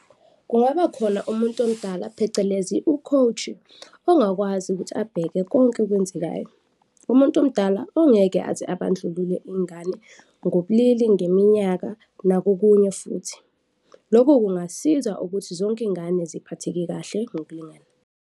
Kungaba khona umuntu omdala phecelezi u-coach-i ongakwazi ukuthi abheke konke okwenzekayo. Umuntu omdala ongeke aze abandlulule izingane ngobulili, ngeminyaka nakukunye futhi, lokho kungasiza ukuthi zonke izingane ziphatheke kahle ngokulingana.